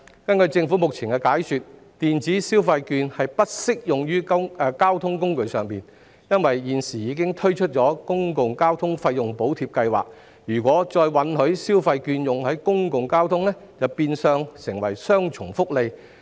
根據政府目前的解說，電子消費券並不適用於交通工具，因為現時已推出公共交通費用補貼計劃，如果再允許消費券在公共交通上使用，便會變相提供雙重福利。